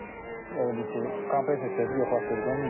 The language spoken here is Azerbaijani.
Elə bil ki, kompresor çıxıb yoxlatdırdım.